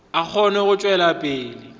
a kgone go tšwela pele